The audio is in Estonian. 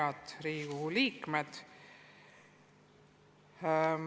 Head Riigikogu liikmed!